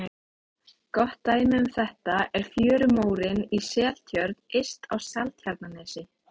Gott dæmi um þetta er fjörumórinn í Seltjörn yst á Seltjarnarnesi.